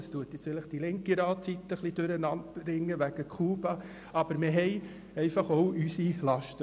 Vielleicht bringt dies die linke Ratsseite ein wenig durcheinander, weil diese Zigarre aus Kuba kam, aber auch wir haben unsere Laster.